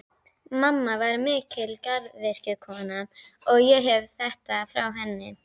Mamma var mikil garðyrkjukona, og ég hef þetta frá henni.